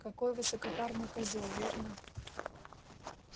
какой высокопарный козёл верно